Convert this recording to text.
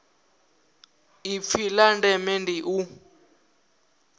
ipfi la ndeme ndi u